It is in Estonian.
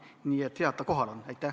Nii et hea, et ta kohal on.